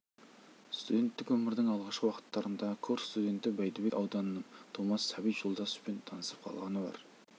студенттік өмірдің алғашқы уақыттарында курс студенті бәйдібек ауданының тумасы сәбит жолдасовпен танысып қалғаны бар